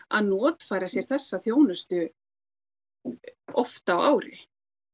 að notfæra sér þessa þjónustu oft á ári